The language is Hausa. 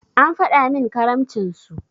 An faɗi min karamcin su.